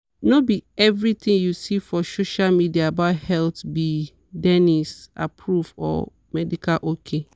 no be everything you see for social media about health be dennis-approved or medical ok.